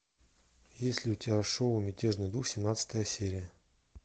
есть ли у тебя шоу мятежный дух семнадцатая серия